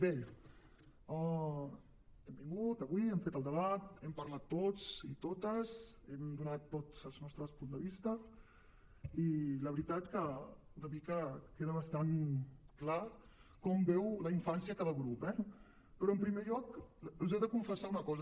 bé hem vingut avui hem fet el debat hem parlat tots i totes hem donat tots els nostres punts de vista i la veritat és que una mica queda bastant clar com veu la infància cada grup eh però en primer lloc us he de confessar una cosa